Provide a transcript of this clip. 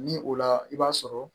Ni o la i b'a sɔrɔ